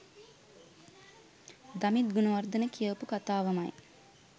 දමිත් ගුණවර්ධන කියපු කතාවමයි.